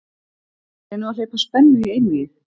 Reynum að hleypa spennu í einvígið